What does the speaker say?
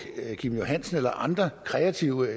kim johansen eller andre kreative